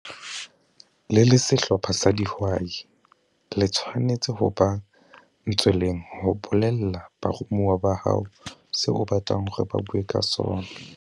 Le le sehlopha sa dihwai, le tshwanetse ho ba ntsweleng ho BOLELLA BAROMUWA BA HAO seo o batlang hore ba bue ka sona.